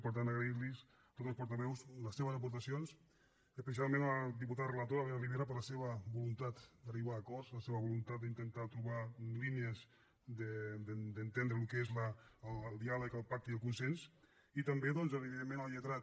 per tant agrair los a tots els portaveus les seves aportacions especialment a la diputada relatora elena ribera per la seva voluntat d’arribar a acords la seva voluntat d’intentar trobar línies d’entendre el que és el diàleg el pacte i el consens i també evidentment al lletrat